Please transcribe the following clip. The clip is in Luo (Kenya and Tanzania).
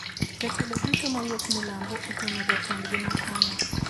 Jotelo duto mawuok milambo oteno jatendgi makono